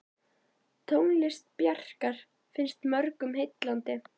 Tónlist Bjarkar finnst mörgum heillandi.